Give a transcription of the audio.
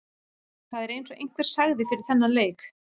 Það er eins og einhver sagði fyrir þennan leik.